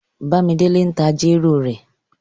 Bàmídélé tí n ta jèrò rẹ̀.